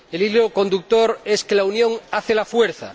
El hilo conductor es que la unión hace la fuerza.